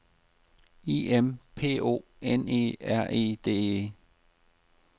I M P O N E R E D E